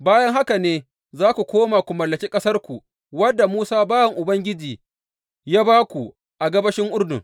Bayan haka ne za ku koma ku mallaki ƙasarku, wadda Musa bawan Ubangiji ya ba ku a gabashin Urdun.